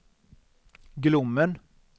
Glommen